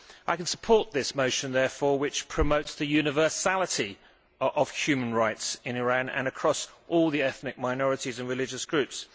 I can support this motion, therefore, which promotes the universality of human rights in Iran and across all the ethnic minorities and religious groups.